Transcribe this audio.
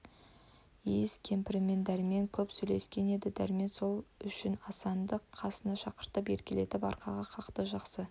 иіс кемпірмен дәрмен көп сөйлескен еді дәрмен сол үшін асанды қасына шақыртып еркелетіп арқаға қақты жақсы